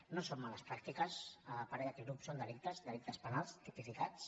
no són males pràctiques a parer d’aquest grup són delictes delictes penals tipificats